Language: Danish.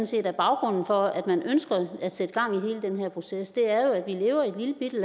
set er baggrunden for at man ønsker at sætte gang i hele den her proces er jo at vi lever i